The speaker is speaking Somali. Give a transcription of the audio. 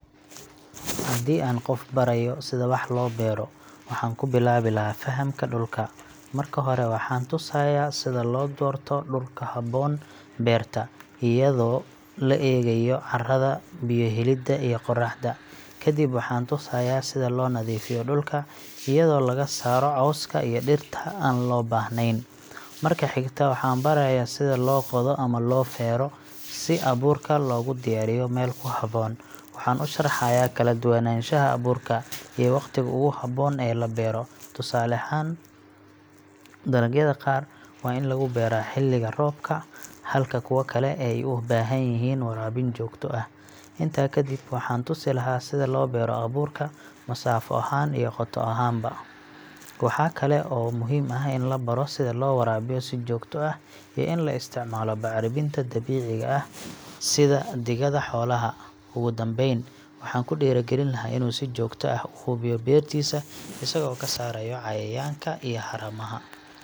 Haddii aan qof barayo sida wax loo beero, waxaan ku bilaabi lahaa fahamka dhulka. Marka hore, waxaan tusayaa sida loo doorto dhul ku habboon beerta, iyadoo la eegayo carrada, biyo-helidda, iyo qoraxda. Ka dib waxaan tusayaa sida loo nadiifiyo dhulka, iyadoo laga saaro cawska iyo dhirta aan loo baahnayn. Marka xigta, waxaan barayaa sida loo qodo ama loo feero si abuurka loogu diyaariyo meel ku habboon. Waxaan u sharaxayaa kala duwanaanshaha abuurka, iyo waqtiga ugu habboon ee la beero. Tusaale ahaan, dalagyada qaar waa in lagu beeraa xilliga roobka, halka kuwa kale ay u baahan yihiin waraabin joogto ah. Intaa kadib, waxaan tusi lahaa sida loo beero abuurka, masaafo ahaan iyo qoto ahaanba. Waxa kale oo muhiim ah in la baro sida loo waraabiyo si joogto ah, iyo in la isticmaalo bacriminta dabiiciga ah sida digada xoolaha. Ugu dambeyn, waxaan ku dhiirigelin lahaa inuu si joogto ah u hubiyo beertiisa, isagoo ka saaraya cayayaanka iyo haramaha.